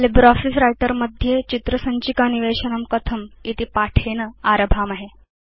LibreOffice Writer मध्ये चित्र सञ्चिका निवेशनं कथमिति पाठेन आरभामहे